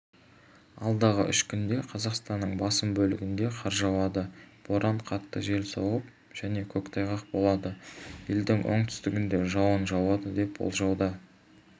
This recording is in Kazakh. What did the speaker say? алдағы үш күнде қазақстанның басым бөлігінде қар жауады боран қатты жел соғып және көктайғақ болады елдің оңтүстігінде жауын жауады деп болжануда